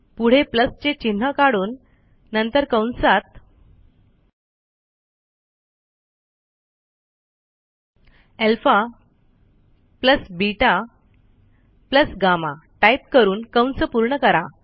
पुढे चे चिन्ह काढून नंतर कंसात अल्फा बेटा गम्मा टाईप करून कंस पूर्ण करा